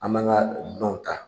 An man ka dunanw ta